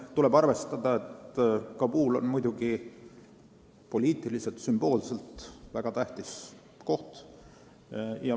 Tuleb muidugi arvestada, et Kabul on poliitiliselt ja sümboolselt väga tähtis koht.